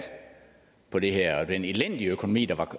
på det her og den elendige økonomi